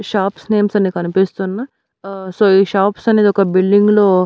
shops names అని కనిపిస్తున్న ఆ సో ఈ షాప్స్ అనేదొక బిల్డింగు లో --